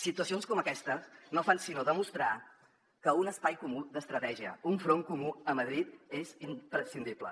situacions com aquesta no fan sinó demostrar que un espai comú d’estratègia un front comú a madrid és imprescindible